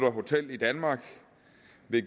af hoteller i danmark